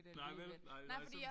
Nej vel nej vel altså sådan